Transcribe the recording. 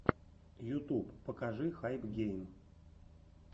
ютуб покажи хайпгейм